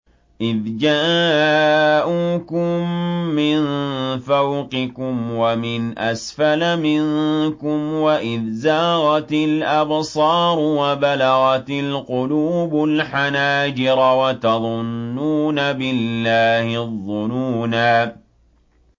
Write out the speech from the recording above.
إِذْ جَاءُوكُم مِّن فَوْقِكُمْ وَمِنْ أَسْفَلَ مِنكُمْ وَإِذْ زَاغَتِ الْأَبْصَارُ وَبَلَغَتِ الْقُلُوبُ الْحَنَاجِرَ وَتَظُنُّونَ بِاللَّهِ الظُّنُونَا